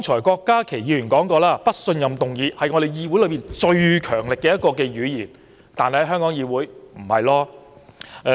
郭家麒議員剛才提到，"不信任"議案是議會最強力的語言，但在香港議會並非如此。